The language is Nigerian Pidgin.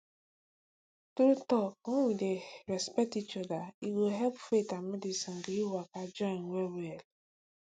true talk when we dey respect each other e go help faith and medicine gree waka join wellwell